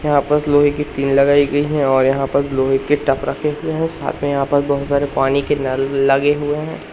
यहां पर लोहे की पीन लगाई गई है और यहां पर लोहे के टप रखें हुए हैं साथ में यहां पर बहोत सारे पानी के नल लगे हुए हैं।